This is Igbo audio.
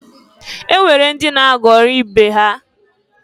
E nwere ndị na-aghọrị ibe ha.